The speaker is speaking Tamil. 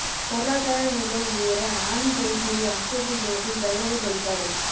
பொருளாதார நிலை உயர ஆனி தேய்பிறை அஷ்டமி தினத்தில் பைரவர் வழிபாடு